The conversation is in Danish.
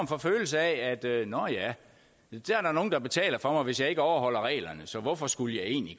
for følelse af at nå ja der er nogen der betaler for mig hvis jeg ikke overholder reglerne så hvorfor skulle jeg egentlig